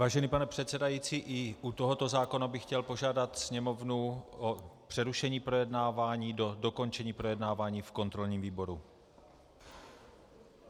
Vážený pane předsedající, i u tohoto zákona bych chtěl požádat Sněmovnu o přerušení projednávání do dokončení projednávání v kontrolním výboru.